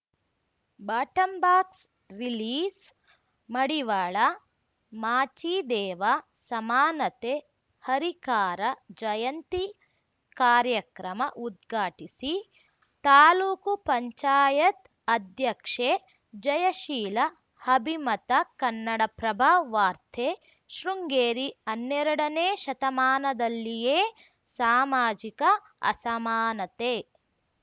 ಬಾಟಂಬಾಕ್ಸ ರಿಲೀಜ್‌ಮಡಿವಾಳ ಮಾಚಿದೇವ ಸಮಾನತೆ ಹರಿಕಾರ ಜಯಂತಿ ಕಾರ್ಯಕ್ರಮ ಉದ್ಘಾಟಿಸಿ ತಾಲೂಕು ಪಂಚಾಯತ್ ಅಧ್ಯಕ್ಷೆ ಜಯಶೀಲ ಅಭಿಮತ ಕನ್ನಡಪ್ರಭ ವಾರ್ತೆ ಶೃಂಗೇರಿ ಹನ್ನೆರಡನೇ ಶತಮಾನದಲ್ಲಿಯೇ ಸಾಮಾಜಿಕ ಅಸಮಾನತೆ